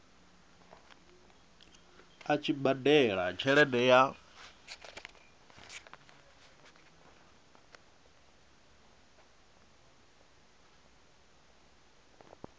a tshi badela tshelede ya